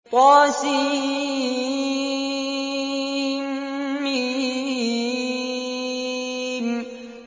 طسم